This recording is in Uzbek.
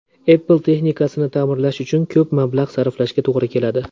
Apple texnikasini ta’mirlash uchun ko‘p mablag‘ sarflashga to‘g‘ri keladi.